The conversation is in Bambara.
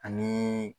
Ani